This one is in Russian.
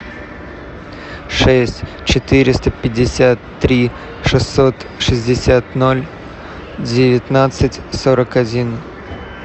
шесть четыреста пятьдесят три шестьсот шестьдесят ноль девятнадцать сорок один